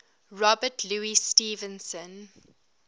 robert louis stevenson